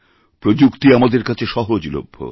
প্রযুক্তি আমাদের কাছে সহজলভ্য